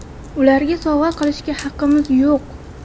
Ularga sovg‘a qilishga haqimiz yo‘q.